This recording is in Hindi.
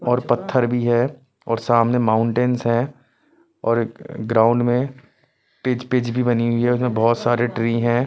और पत्थर भी है और सामने माउंटेंस है और एक ग्राउंड में पी पिच भी बनी हुई है जिसमें बहोत सारे ट्री हैं।